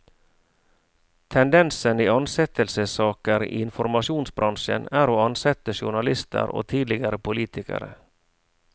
Tendensen i ansettelsessaker i informasjonsbransjen er å ansette journalister og tidligere politikere.